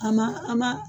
A ma an ma